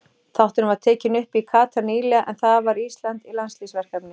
Þátturinn var tekinn upp í Katar nýlega en þar var Ísland í landsliðsverkefni.